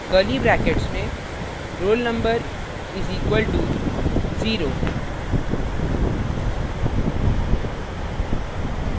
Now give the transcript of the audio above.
curly brackets में roll _ number is equal to 0